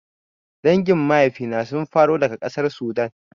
Dangin maifina sun faro daga ƙasar Sudan